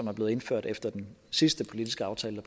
er blevet indført efter den sidste politiske aftale